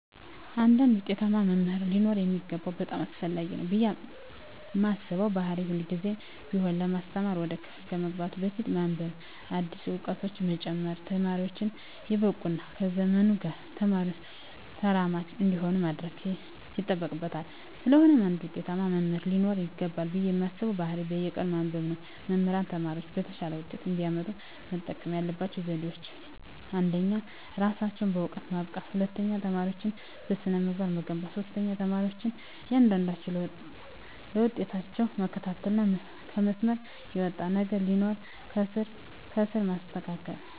አንድ ውጤታማ መምህር ሊኖረው የሚገባው በጣም አስፈላጊ ነው ብየ ማስበው ባህሪ ሁልግዜም ቢሆን ለማስተማር ወደ ክፍል ከመግባቱ በፊት በማንብበ አዳዲስ እውቀቶችን በመጨመር ተማሪወቹን የበቁ እና ከዘመኑ ጋር ተራማጅ እንዲሆኑ ማድረግ ይጠበቅበታል ስለሆነም አንድ ውጤታማ መምህር ሊኖረው ይገባል ብየ ማስበው ባህሪ በየቀኑ ማንበብ ነው። መምህራን ተማሪወቻቸው የተሻለ ውጤት እንዲያመጡ መጠቀም ያለባቸው ዘዴወች አንደኛ እራሳቸውን በእውቀት ማብቃት፣ ሁለተኛ ተማሪወቻቸውን በስነ-ምግባር መገንባት፣ ሶስተኛ የተማሪወቻቸውን እያንዳንዷን ለውጣቸውን መከታተልና ከመስመር የወጣ ነገር ሲኖር ከስር ከስር ማስተካከል።